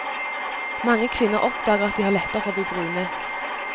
Mange kvinner oppdager at de har lettere for å bli brune.